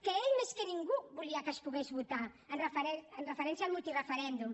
que ell més que ningú volia que es pogués votar en referència al multireferèndum